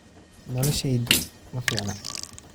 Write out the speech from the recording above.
Noloshaydu ma fiicna.